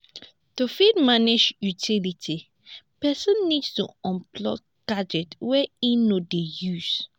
to fit manage utility person need to unplug gadgets wey im no dey use